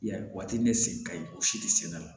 I y'a ye waati ne sen ka ɲi o si tɛ senna